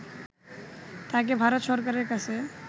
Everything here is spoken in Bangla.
তাকে ভারত সরকারের কাছে